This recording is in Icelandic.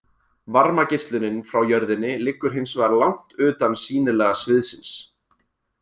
Varmageislunin frá jörðinni liggur hins vegar langt utan sýnilega sviðsins.